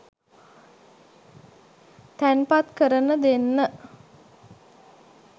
තැන්පත් කරන දෙන්න.